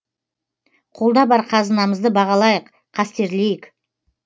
қолда бар қазынамызды бағалайық қастерлейік